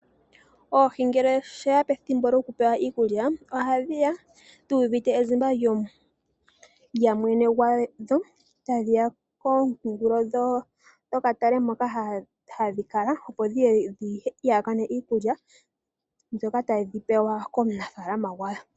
Oohi ngele ta shiya pethimbo lyokupewa iikulya oha dhiya dhuuvite ezimba lyamwene gwadho, tadhiya komukulo gwokatale moka hadhi kala opo dhiye dhiihakane iikulya ndjoka tadhi pewa komunafala gwadho.